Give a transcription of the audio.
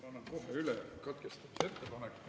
Ma annan kohe üle katkestamise ettepaneku.